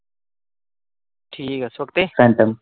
ਠੀਕ ਆ ਛੁੱਟੀ।